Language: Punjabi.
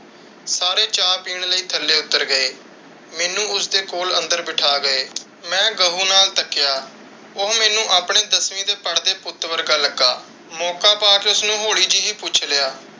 ਸਾਰੇ ਚਾਅ ਪੀਣ ਲਈ ਥੱਲੇ ਉੱਤਰ ਗਏ। ਮੈਨੂੰ ਉਸਦੇ ਕੋਲ ਅੰਦਰ ਬਿਠਾ ਗਏ। ਮੈਂ ਗਹੁ ਨਾਲ ਤੱਕਿਆ, ਉਹ ਮੈਨੂੰ ਆਪਣੇ ਦਸਵੀਂ ਦੇ ਪੜ੍ਹਦੇ ਪੁੱਤ ਵਰਗਾ ਲੱਗਾ । ਮੌਕਾ ਪਾ ਕੇ ਉਸਨੂੰ ਹੋਲੀ ਜਹੀ ਪੁੱਛ ਲਿਆ।